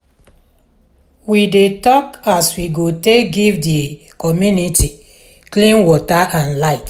we dey tok as we go take give di community clean water and light.